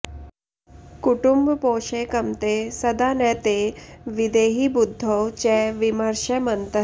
कुटुम्बपोषैकमते सदा न ते विधेहि बुद्धौ च विमर्षमन्तः